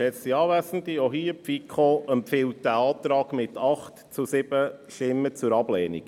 Auch hier: Die FiKo empfiehlt diesen Antrag mit 8 zu 7 Stimmen zur Ablehnung.